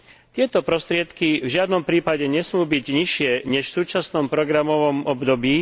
Tieto prostriedky v žiadnom prípade nesmú byť nižšie než v súčasnom programovom období.